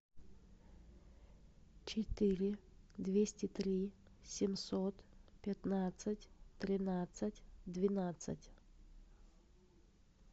четыре двести три семьсот пятнадцать тринадцать двенадцать